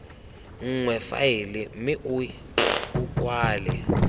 nngwe faele mme o kwale